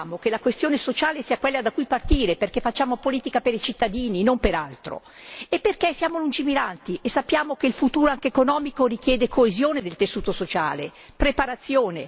Noi pensiamo che la questione sociale sia quella da cui partire perché facciamo politica per i cittadini, non per altro, e perché siamo lungimiranti e sappiamo che il futuro, anche economico, richiede coesione del tessuto sociale e preparazione.